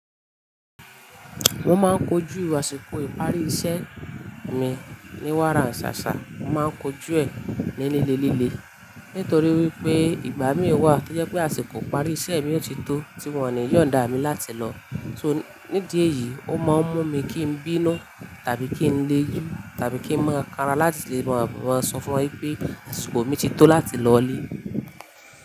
Mo máa ń kojú àsìkò ìparí iṣẹ́ mi ní wára n ṣàṣà, mo má ń kojú ẹ̀ ní líle líle. Nítorí wípé ìgbà mí wà to jẹ́ pé àsìkò ìparí iṣẹ́ mi yò tí tó tí wọ́n ni yóò n dá mi láti lọ. So nídí èyí ó máa ń mú mi kí n bínú tàbí kí n le ju tàbí kí n máa kanra láti lè máa sọ fún wọn wípé àsìkò mi ti tó láti lọlé.